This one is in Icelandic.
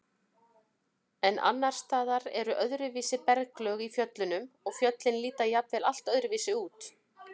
En annars staðar eru öðruvísi berglög í fjöllunum og fjöllin líta jafnvel allt öðruvísi út.